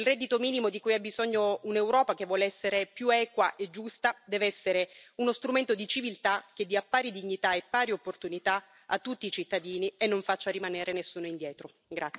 Il reddito minimo di cui ha bisogno un'Europa che vuole essere più equa e giusta deve essere uno strumento di civiltà, che dia pari dignità e pari opportunità a tutti i cittadini e non faccia rimanere nessuno indietro.